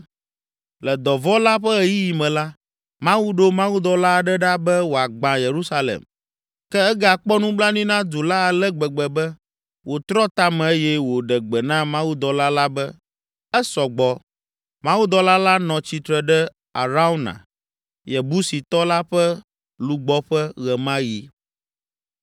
Le dɔvɔ̃ la ƒe ɣeyiɣi me la, Mawu ɖo mawudɔla aɖe ɖa be wòagbã Yerusalem, ke egakpɔ nublanui na du la ale gbegbe be, wòtrɔ ta me eye wòɖe gbe na mawudɔla la be, “Esɔ gbɔ!” Mawudɔla la nɔ tsitre ɖe Arauna, Yebusitɔ la ƒe lugbɔƒe ɣe ma ɣi.